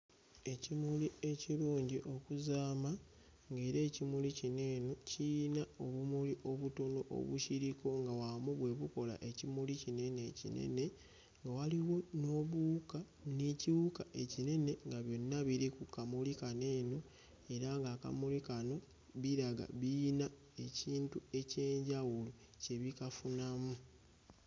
Ekimuli ekirungi okuzaama ng'era ekimuli kino eno kiyina obumuli obutono obukiriko nga wamu bwe bukola ekimuli kino eno ekinene, nga waliwo n'obuwuka n'ekiwuka ekinene nga byonna biri ku kamuli kano eno era ng'akamuli kano biraga biyina ekintu eky'enjawulo kye bikafunamu.